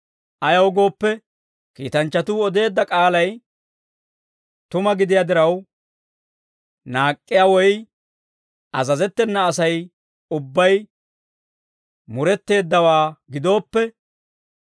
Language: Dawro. Ayaw gooppe, kiitanchchatuu odeedda k'aalay tuma gidiyaa diraw, naak'k'iyaa woy azazettena Asay ubbay muretteeddawaa gidooppe,